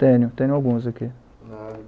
Tenho, tenho alguns aqui. Ah